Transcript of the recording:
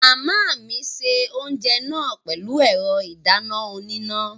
Màmá mi se oúnjẹ náà pẹ̀lú ẹ̀rọ ìdáná oníná